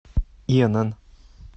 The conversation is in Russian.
инн